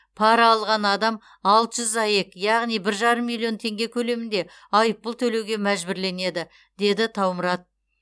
пара алған адам алты жүз аек яғни бір жарым миллион теңге көлемінде айыппұл төлеуге мәжбүрленеді деді таумұрат